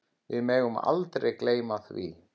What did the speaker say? Við megum aldrei gleyma því.